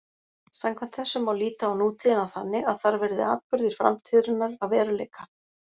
Samkvæmt þessu má líta á nútíðina þannig að þar verði atburðir framtíðarinnar að veruleika.